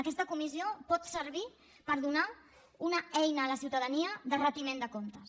aquesta comissió pot servir per donar una eina a la ciutadania de retiment de comptes